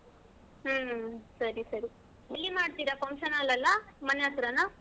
ಹ್ಮ್ ಸರಿ ಸರಿ ಎಲ್ಲಿ ಮಾಡ್ತೀರಾ function hall ಲಲ್ಲ? ಮನೆ ಹತ್ರಾನಾ?